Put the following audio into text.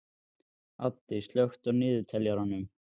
Addi, slökktu á niðurteljaranum.